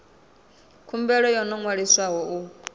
khumbelo yo no ṅwaliswaho u